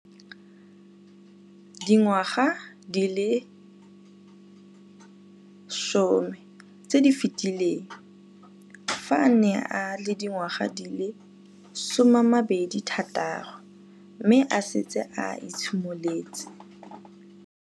Dingwaga di le 10 tse di fetileng, fa a ne a le dingwaga di le 23 mme a setse a itshimoletse